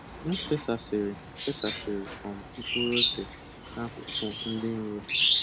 M fesasịrị fesasịrị um mkpụrụ ose na akụkụ dị nro.